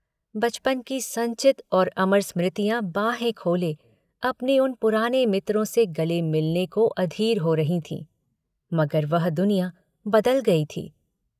बचपन की संचित और अमर स्मृतियाँ बाहें खोले अपने उन पुराने मित्रों से गले मिलने को अधीर हो रही थीं मगर वह दुनिया बदल गई थी।